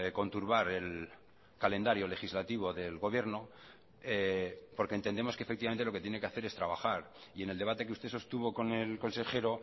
conturbar el calendario legislativo del gobierno porque entendemos que efectivamente lo que tiene que hacer es trabajar y en el debate que usted sostuvo con el consejero